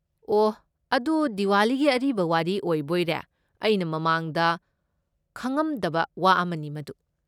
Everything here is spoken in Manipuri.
ꯑꯣꯍ, ꯑꯗꯨ ꯗꯤꯋꯥꯂꯤꯒꯤ ꯑꯔꯤꯕ ꯋꯥꯔꯤ ꯑꯣꯏꯕꯣꯏꯔꯦ꯫ ꯑꯩꯅ ꯃꯃꯥꯡꯗ ꯈꯪꯉꯝꯗꯕ ꯋꯥ ꯑꯃꯅꯤ ꯃꯗꯨ꯫